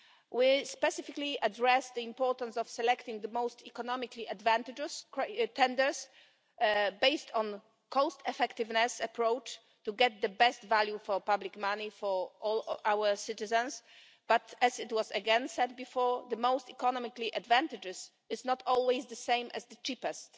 We specifically addressed the importance of selecting the most economically advantageous tenders based on a cost effectiveness approach to get the best value for public money for all our citizens, but as was said before the most economically advantageous is not always the cheapest.